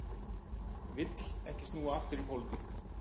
Vill ekki snúa aftur í pólitík